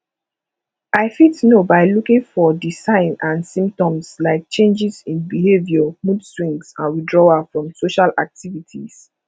i fit know by looking for di signs and symptoms like changes in behavior moodswings and withdrawal from social activities